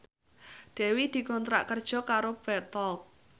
Dewi dikontrak kerja karo Bread Talk